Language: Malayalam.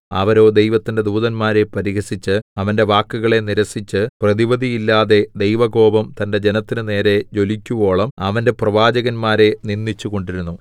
അവരോ ദൈവത്തിന്റെ ദൂതന്മാരെ പരിഹസിച്ച് അവന്റെ വാക്കുകളെ നിരസിച്ച് പ്രതിവിധിയില്ലാതെ ദൈവകോപം തന്റെ ജനത്തിന് നേരെ ജ്വലിക്കുവോളം അവന്റെ പ്രവാചകന്മാരെ നിന്ദിച്ചുകൊണ്ടിരുന്നു